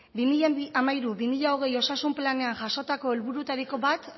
bi mila hamairu bi mila hogei osasun planean jasotako helburutariko bat